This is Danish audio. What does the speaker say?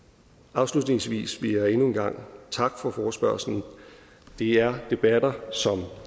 afslutningsvis vil jeg endnu en gang takke for forespørgslen det er debatter som